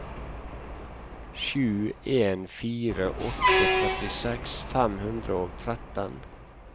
sju en fire åtte trettiseks fem hundre og tretten